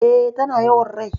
E,tana yawan rai.